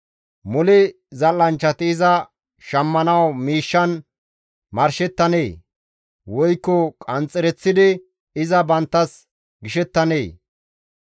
Mole zal7anchchati iza shammanawu miishshan marshettanee? Woykko qanxxereththidi iza banttas gishettanee?